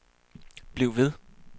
bliv ved